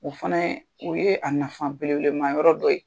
U fana ye o ye a nafa bele belema yɔrɔ dɔ ye.